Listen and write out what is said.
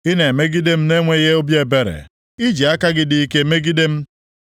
Ị na-emegide m na-enweghị obi ebere; i ji aka gị dị ike megide m.